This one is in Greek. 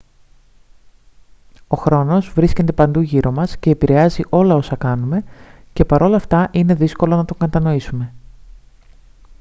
ο χρόνος βρίσκεται παντού γύρω μας και επηρεάζει όλα όσα κάνουμε και παρ' όλα αυτά είναι δύσκολο να τον κατανοήσουμε